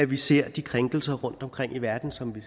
vi ser de krænkelser rundtomkring i verden som vi